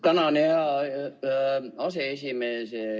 Tänan, hea aseesimees!